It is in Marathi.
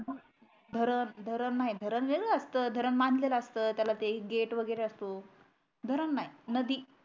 धरण धरण नाही वेगळं असत धरण बांधलेल असत त्याला ते गेट वगरे असत धरण नाही नदी